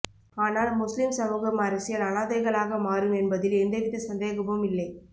ஆனால் முஸ்லிம் சமூகம் அரசியல் அநாதைகளாகமாறும் என்பதில் எந்தவித சந்தேகமும் இல்லை